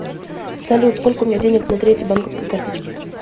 салют сколько у меня денег на третьей банковской карточке